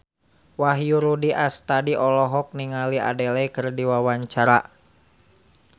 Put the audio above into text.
Wahyu Rudi Astadi olohok ningali Adele keur diwawancara